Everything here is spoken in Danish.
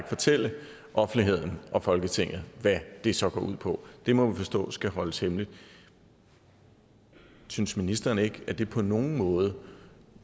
fortælle offentligheden og folketinget hvad den så går ud på det må vi forstå skal holdes hemmeligt synes ministeren ikke at det på nogen måde